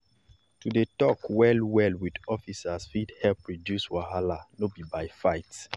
na normal for vendors to shift sharp-sharp when dem sharp-sharp when dem hear say police dey show face for market.